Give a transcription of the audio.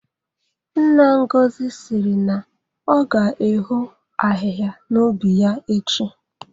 Nna Ngozi siri na ọ ga-eho ahịhịa n'ubi ya echi